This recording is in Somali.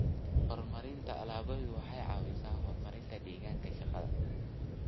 Horumarinta alaabadu waxay caawisaa horumarinta deegaanka shaqada.